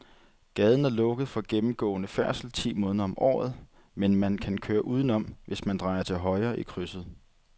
Gaden er lukket for gennemgående færdsel ti måneder om året, men man kan køre udenom, hvis man drejer til højre i krydset.